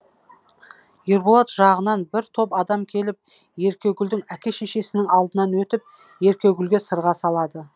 ерболат жағынан бір топ адам келіп еркегүлдің әке шешесінің алдынан өтіп еркегүлге сырға салады